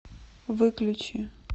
выключи